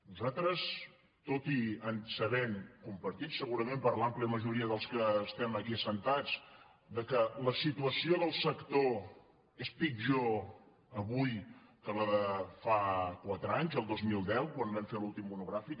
nosaltres tot i saber compartit segurament per l’àmplia majoria dels que estem aquí asseguts que la situació del sector és pit·jor avui que la de fa quatre anys el dos mil deu quan vam fer l’últim monogràfic